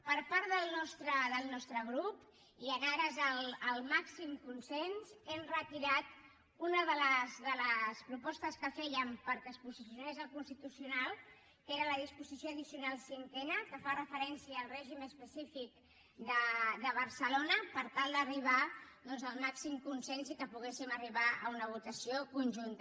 per part del nostre grup i en ares al màxim consens hem retirat una de les propostes que fèiem perquè es posicionés el constitucional que és la disposició addicional cinquena que fa referència al règim específic de barcelona per tal d’arribar al màxim consens i que puguem arribar a una votació conjunta